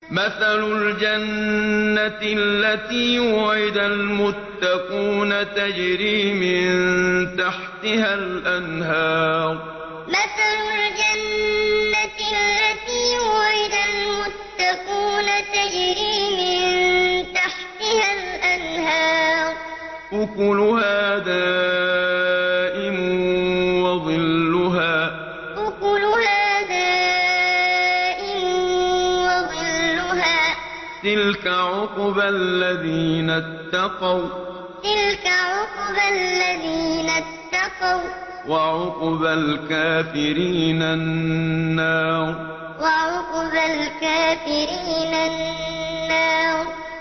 ۞ مَّثَلُ الْجَنَّةِ الَّتِي وُعِدَ الْمُتَّقُونَ ۖ تَجْرِي مِن تَحْتِهَا الْأَنْهَارُ ۖ أُكُلُهَا دَائِمٌ وَظِلُّهَا ۚ تِلْكَ عُقْبَى الَّذِينَ اتَّقَوا ۖ وَّعُقْبَى الْكَافِرِينَ النَّارُ ۞ مَّثَلُ الْجَنَّةِ الَّتِي وُعِدَ الْمُتَّقُونَ ۖ تَجْرِي مِن تَحْتِهَا الْأَنْهَارُ ۖ أُكُلُهَا دَائِمٌ وَظِلُّهَا ۚ تِلْكَ عُقْبَى الَّذِينَ اتَّقَوا ۖ وَّعُقْبَى الْكَافِرِينَ النَّارُ